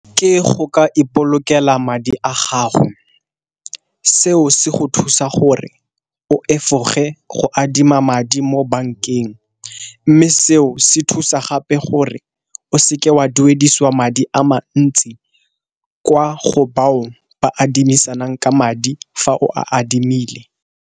Ke go ka ipolokela madi a gago, seo se go thusa gore o efoge go adima madi mo bankeng. Mme seo se thusa gape gore o seke wa duedisiwa madi a mantsi kwa go bao ba adimisanang ka madi fa o a adimile.